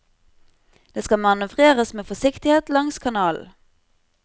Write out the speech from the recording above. Det skal manøvreres med forsiktighet langs kanalen.